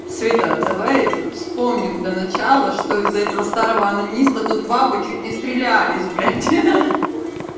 света давай вспомним до начала что из-за этого старого онанист тут бабы чуть не стрелялись блядь ха-ха